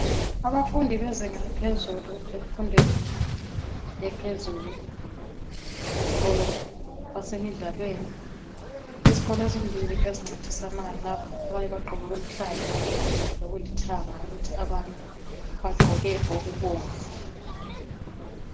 Abafundi bezinga laphezulu emfundweni ephezulu esikolo basemidlalweni yizikolo ezimbili ezincintisanayo lapha abanye bagqoke okuluhlaza lokulithanga abanye okubomvu